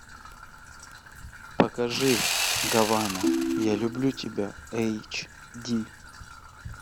покажи гавана я люблю тебя эйч ди